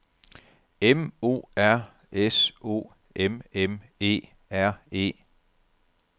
M O R S O M M E R E